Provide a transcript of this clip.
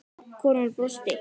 Konan brosti.